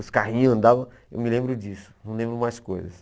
Os carrinhos andavam, eu me lembro disso, não lembro mais coisas.